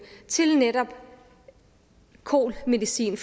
til netop kol medicin